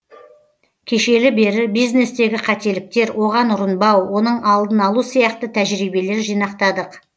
кешелі бері бизнестегі қателіктер оған ұрынбау оның алдын алу сияқты тәжірибелер жинақтадық